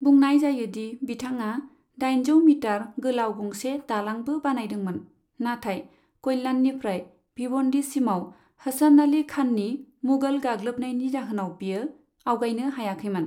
बुंनाय जायोदि बिथाङा दाइनजौ मिटार गोलाव गंसे दालांबो बानायदोंमोन, नाथाय कल्याणनिफ्राय भिवन्डीसिमाव हसन अली खाननि मुगल गाग्लोबनायनि जाहोनाव बियो आवगायनो हायाखैमोन।